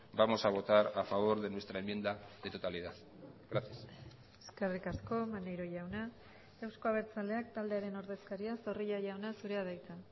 vamos a votar a favor de nuestra enmienda de totalidad gracias eskerrik asko maneiro jauna euzko abertzaleak taldearen ordezkaria zorrilla jauna zurea da hitza